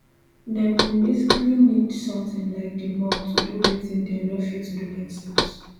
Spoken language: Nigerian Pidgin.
dem go basically need something like di mop to do wetin dem no fit do themselves